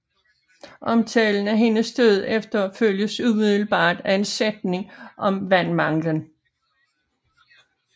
Omtalen af hendes død efterfølges umiddelbart af en sætning om vandmanglen